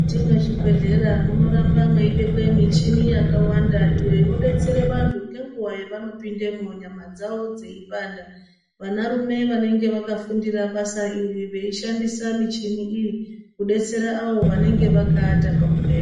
Ti mwezvibhedhlera munorba mweibekwe muchini yakawanda iyo inodetsera vanhu ngenguwa yavanopindemo nyama dzawo dzeipanda vana rume vanenge vakafundira basa iri veishandisa muchini iyi kudetsere avo vanenge vakaata pamubhedha.